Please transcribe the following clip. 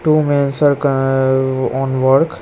Two mens are on work.